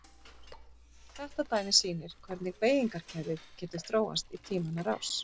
Þetta dæmi sýnir hvernig beygingarkerfið getur þróast í tímanna rás.